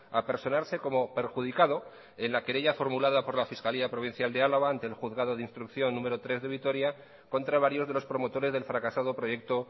a personarse como perjudicado en la querella formulada por la fiscalía provincial de álava ante el juzgado de instrucción número tres de vitoria contra varios de los promotores del fracasado proyecto